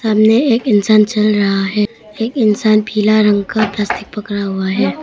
एक इंसान चल रहा है एक इंसान पीला रंग का प्लास्टिक पकड़ा हुआ है।